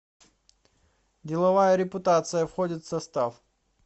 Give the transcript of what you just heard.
деловая репутация входит в состав